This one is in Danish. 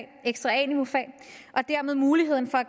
ekstra a niveaufag og dermed muligheden for at